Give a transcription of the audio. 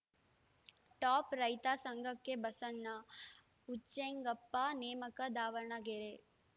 top ರೈತ ಸಂಘಕ್ಕೆ ಬಸಣ್ಣ ಉಚ್ಚೆಂಗೆಪ್ಪ ನೇಮಕ ದಾವಣಗೆರೆ